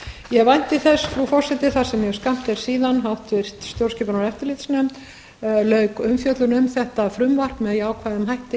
ég vænti þess frú forseti þar sem mjög skammt er síðan háttvirtrar stjórnskipunar og eftirlitsnefnd lauk umfjöllun um þetta frumvarp með jákvæðum hætti